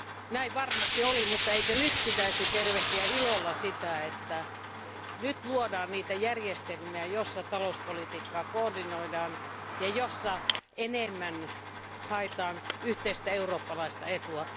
Näin varmasti oli, mutta eikö pitäisi tervehtiä ilolla sitä, että nyt luodaan niitä järjestelmiä, joissa talouspolitiikkaa koordinoidaan ja joissa haetaan enemmän yhteistä eurooppalaista etua.